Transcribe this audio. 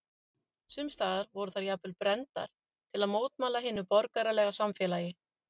Sums staðar voru þær jafnvel brenndar til að mótmæla hinu borgaralega samfélagi.